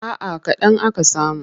A'a kaɗan aka samu.